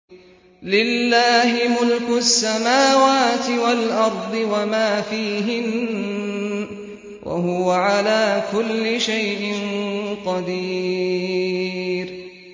لِلَّهِ مُلْكُ السَّمَاوَاتِ وَالْأَرْضِ وَمَا فِيهِنَّ ۚ وَهُوَ عَلَىٰ كُلِّ شَيْءٍ قَدِيرٌ